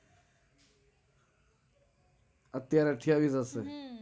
અત્યારે અઠ્યાવીસ જ હશે.